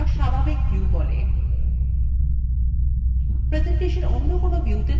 presentation any কোনো viewত়ে থাকলে